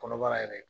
Kɔnɔbara yɛrɛ